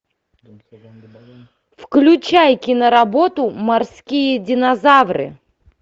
включай киноработу морские динозавры